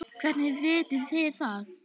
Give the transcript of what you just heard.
Hvernig vitið þið það?